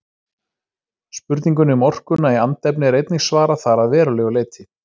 Spurningunni um orkuna í andefni er einnig svarað þar að verulegu leyti.